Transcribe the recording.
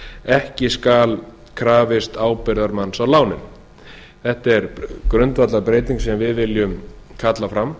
ekki skal krafist ábyrgðarmanns á námslán þetta er grundvallarbreyting sem við viljum kalla fram